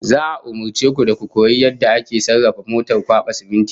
Za'a umurce ku da ku koyi yadda ake sarrafa motar kwaba siminti